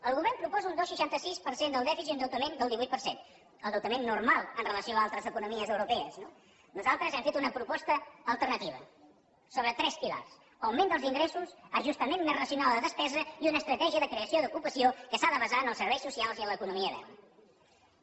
el govern proposa un dos coma seixanta sis per cent del dèficit endeutament del divuit per cent endeutament normal amb relació a altres economies europees no nosaltres hem fet una proposta alternativa sobre tres pilars augment dels ingressos ajustament més racional de la despesa i una estratègia de creació d’ocupació que s’ha de basar en els serveis socials i en l’economia verda